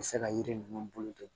U bɛ se ka yiri ninnu bolo to